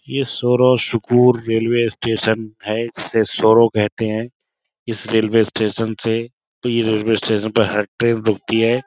ये सोरोशुकूर railway station है इसे सौरो कहते हैं। इस रेलवे स्टेशन से इ रेलवे स्टेशन पे हर ट्रेन रुकती है।